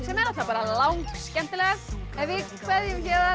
er langskemmtilegast við kveðjum héðan